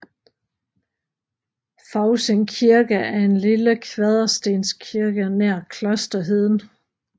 Fousing Kirke er en lille kvaderstenskirke nær Klosterheden